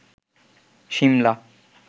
Shimla